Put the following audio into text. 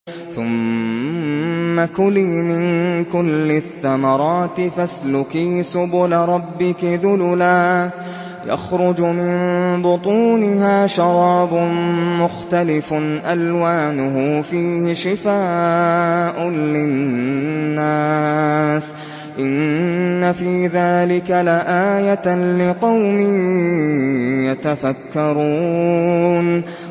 ثُمَّ كُلِي مِن كُلِّ الثَّمَرَاتِ فَاسْلُكِي سُبُلَ رَبِّكِ ذُلُلًا ۚ يَخْرُجُ مِن بُطُونِهَا شَرَابٌ مُّخْتَلِفٌ أَلْوَانُهُ فِيهِ شِفَاءٌ لِّلنَّاسِ ۗ إِنَّ فِي ذَٰلِكَ لَآيَةً لِّقَوْمٍ يَتَفَكَّرُونَ